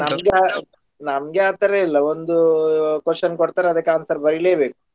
ನಮ್ಗೆ ನಮ್ಗೆ ಆ ತರಾ ಇಲ್ಲ ಒಂದು question ಕೊಡ್ತಾರೆ ಅದಕ್ಕ answer ಬರಿಲೇಬೇಕು.